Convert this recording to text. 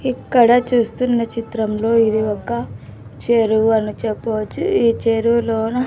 ఇక్కడ చూస్తున్న చిత్రంలో ఇది ఒక చెరువు అని చెప్పవచ్చు ఈ చెరువులోన --